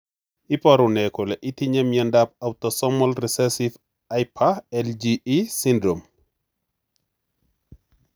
Iporu ne kole itinywe miondap Autosomal recessive hyper IgE syndrome?